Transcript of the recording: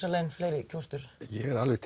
inn fleiri kjósendur ég er alveg